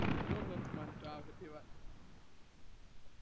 હું નથી માનતો આ બધી વાત